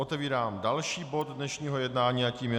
Otevírám další bod dnešního jednání a tím je